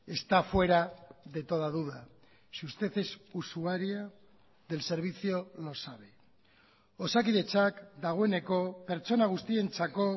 está fuera de toda duda si usted es usuaria del servicio lo sabe osakidetzak dagoeneko pertsona guztientzako